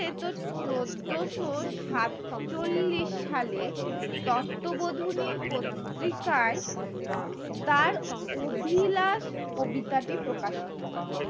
চোদ্দোশো সাত চল্লিশ সালে তত্ত্ব বধুনির পত্রিকা তার অভিলাস কবিতাটি প্রকাশিত হয়